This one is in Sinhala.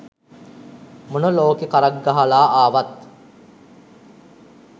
මොන ලෝකෙ කරක් ගහලා ආවත්